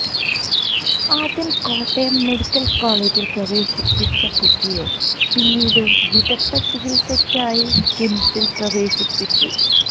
ആദ്യം കോട്ടയം മെഡിക്കൽ കോളേജിൽ പ്രവേശിപ്പിച്ച കുട്ടിയെ പിന്നീട് വിദഗ്ധ ചികിത്സയ്ക്കായി കിംസിൽ പ്രവേശിപ്പിച്ചു